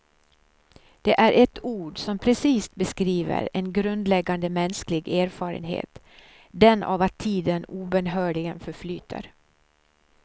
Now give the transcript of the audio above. Det är ett ord som precist beskriver en grundläggande mänsklig erfarenhet, den av att tiden obönhörligen förflyter.